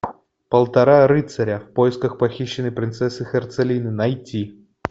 полтора рыцаря в поисках похищенной принцессы херцелинды найти